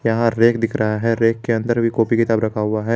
यहां रैक दिख रहा है रैक के अंदर भी कॉपी किताब रखा हुआ है।